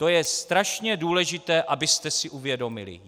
To je strašně důležité, abyste si uvědomili.